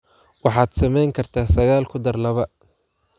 waxaad samayn kartaa sagaal ku dar laba